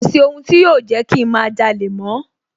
Kọ̀sí ohun tí yóò Jẹ́kí ń má jalè mọ́